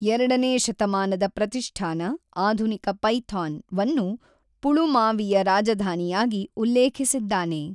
ಎರಡನೇ ಶತಮಾನದ ಪ್ರತಿಷ್ಠಾನ(ಆಧುನಿಕ ಪೈಥಾನ್)ವನ್ನು ಪುಳುಮಾವಿಯ ರಾಜಧಾನಿಯಾಗಿ ಉಲ್ಲೇಖಿಸಿದ್ದಾನೆ.